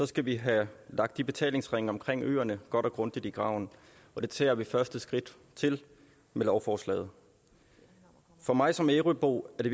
skal vi have lagt de betalingsringe omkring øerne godt og grundigt i graven og det tager vi første skridt til med lovforslaget for mig som ærøbo er det